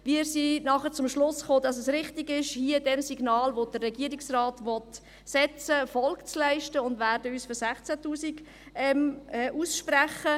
Wir kamen dann zum Schluss, dass es richtig ist, hier dem Signal, welches der Regierungsrat aussenden will, Folge zu leisten, und werden uns für 16 000 Franken aussprechen.